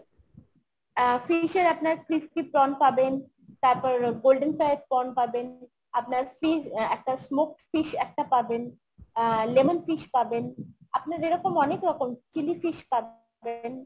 আহ fish এর আপনার crispy prawn পাবেন, তারপর golden fried prawn পাবেন, আপনার fish আহ একটা smoked fish একটা পাবেন, আহ lemon fish পাবেন আপনার এরকম অনেক রকম chili fish পাবেন